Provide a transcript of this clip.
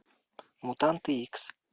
мутанты икс